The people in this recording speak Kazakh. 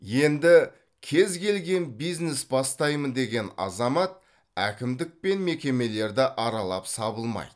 енді кез келген бизнес бастаймын деген азамат әкімдік пен мекемелерді аралап сабылмайды